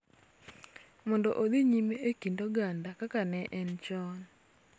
Mondo odhi nyime e kind oganda kaka ne en chon.